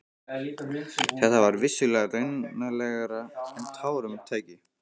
Þetta var vissulega raunalegra en tárum tæki.